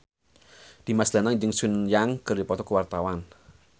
Dimas Danang jeung Sun Yang keur dipoto ku wartawan